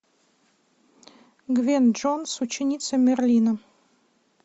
гвен джонс ученица мерлина